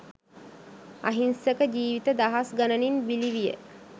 අහිංසක ජීවිත දහස් ගණනින් බිලිවිය.